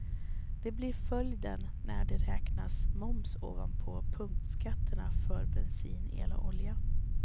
Det blir följden när det räknas moms ovanpå punktskatterna för bensin, el och olja.